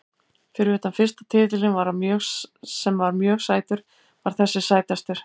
Fyrir utan fyrsta titilinn sem var mjög sætur var þessi sætastur.